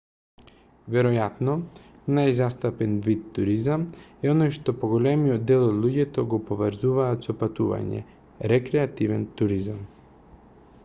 веројатно најзастапен вид туризам е оној што поголемиот дел од луѓето го поврзуваат со патување рекреативен туризам